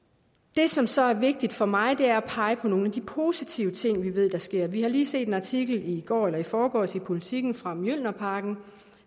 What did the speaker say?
det som så er vigtigt for mig er at pege på nogle af de positive ting vi ved der sker vi har lige set en artikel i går eller i forgårs i politiken om mjølnerparken